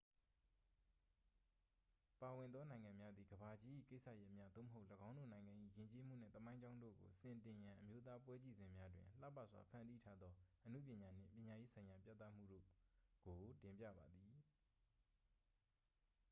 ပါဝင်သောနိုင်ငံများသည် ကမ္ဘာကြီး၏ကိစ္စရပ်များ သို့မဟုတ် ၎င်းတို့နိုင်ငံ၏ ယဉ်ကျေးမှုနှင့် သမိုင်းကြောင်းတို့ကို စင်တင်ရန် အမျိုးသားပွဲကြည့်စင်များတွင် လှပစွာဖန်တီးထားသောအနုပညာနှင့် ပညာရေးဆိုင်ရာပြသမှုတို့က်ု တင်ပြပါသည်